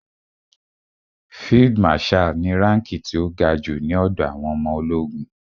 Field marshal ni ránkí ti ó ga jù ní ọ̀dọ̀ àwọn ọmọ ológun.